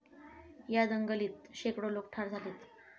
या दंगलीत शेकडो लोकं ठार झालीत.